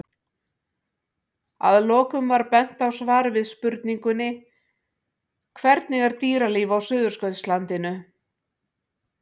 Að lokum er bent á svar við spurningunni Hvernig er dýralíf á Suðurskautslandinu?